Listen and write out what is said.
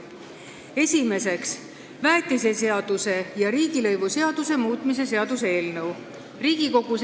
Esiteks, väetiseseaduse ja riigilõivuseaduse muutmise seaduse eelnõu.